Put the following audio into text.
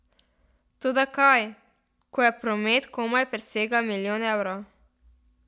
Toda kaj, ko je promet komaj presegel milijon evrov!